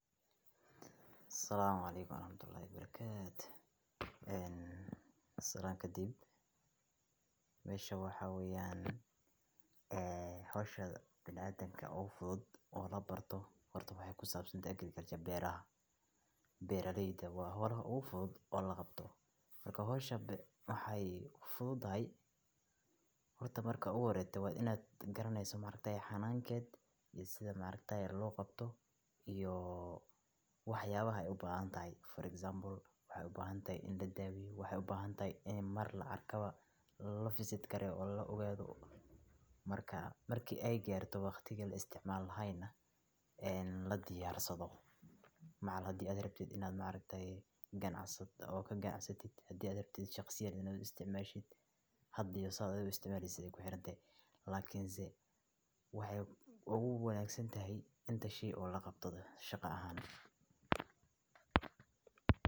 assalamu alaikum warahmatullahi barakatuh. Ehm. Salaanka dib meesha waxaa weeyaan, ah, hawsha bil aadamka u fudud oo la barto hor ta way ku saabsan deegankii gareeraya beera ha. Beerarayda waa howl u fudud oo la qabto marka hawsha waxay u fududahay. Hor ta marka ugu horeeta waad inaad garanaysato maamulkeena xannaankeed iyo sida maamulkeena loo qabto ioo wax yaabahay u baahan tahay. For example, waxay u baahan tahay in la daawi, waxay u baahan tahay in mar la arkaba la visit kareen ogaado marka markii ay gaarto wakhti kala isticmaal hayna een la yarsado macal haddii aad rabtid inaad maamul tay ganacsi ah oo ka ganacsatid haddii aad rabtid shakhsi aad isticmaashid haddi iyo saad isticmaalaysa ku xiran tahay. Laakiinse waxay ugu wanaagsan tahay inta shii oo la qabto shaqo ahaan.